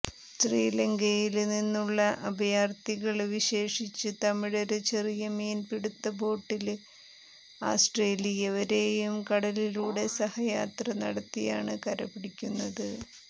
ശ്രീലങ്കയില് നിന്നുള്ള അഭയാര്ഥികള് വിശേഷിച്ച് തമിഴര് ചെറിയ മീന്പിടുത്ത ബോട്ടുകളില് ആസ്ത്രേലിയ വരെയും കടലിലൂടെ സാഹസികയാത്ര നടത്തിയാണ് കര പിടിക്കുന്നത്